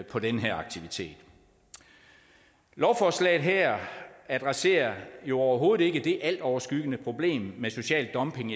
på den her aktivitet lovforslaget her adresserer jo overhovedet ikke det altoverskyggende problem med social dumping